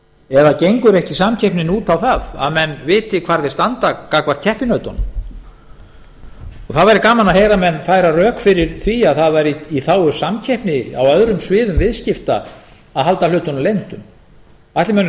eða gengur ekki samkeppnin út á það að menn viti hvar þeir standa gagnvart keppinautunum það væri gaman að heyra menn færa rök fyrir því að það væri í þágu samkeppni á öðrum sviðum viðskipta að halda hlutunum leyndum ætli mönnum